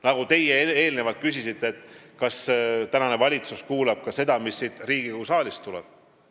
Nagu te eelnevalt küsisite, kas valitsus kuulab ka seda, mis siin Riigikogu saalis räägitakse.